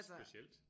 Specielt